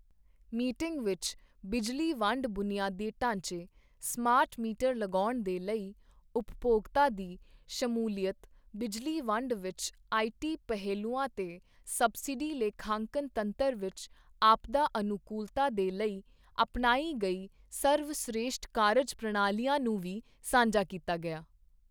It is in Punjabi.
ਮੀਟਿੰਗ ਵਿੱਚ ਬਿਜਲੀ ਵੰਡ ਬੁਨਿਆਦੀ ਢਾਂਚੇ, ਸਮਾਰਟ ਮੀਟਰ ਲਗਾਉਣ ਦੇ ਲਈ ਉਪਭੋਗਤਾ ਦੀ ਸ਼ਮੂਲੀਅਤ, ਬਿਜਲੀ ਵੰਡ ਵਿੱਚ ਆਈਟੀ ਪਹਿਲੂਆਂ ਤੇ ਸਬਸਿਡੀ ਲੇਖਾਂਕਨ ਤੰਤਰ ਵਿੱਚ ਆਪਦਾ ਅਨੁਕੂਲਤਾ ਦੇ ਲਈ ਅਪਣਾਈ ਗਈ ਸਰਵਸ਼੍ਰੇਸ਼ਠ ਕਾਰਜ ਪ੍ਰਣਾਲੀਆਂ ਨੂੰ ਵੀ ਸਾਂਝਾ ਕੀਤਾ ਗਿਆ।